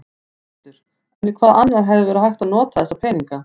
Þórhildur: En í hvað annað hefði verið hægt að nota þessa peninga?